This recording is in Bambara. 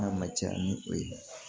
N'a ma caya ni o ye